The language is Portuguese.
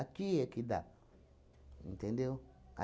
é que dá, entendeu?